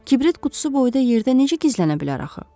Kibrit qutusu boyda yerdə necə gizlənə bilər axı?